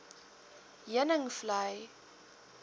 heuningvlei